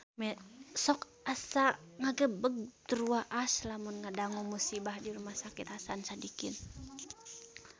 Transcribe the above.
Sok asa ngagebeg tur waas lamun ngadangu musibah di Rumah Sakit Hasan Sadikin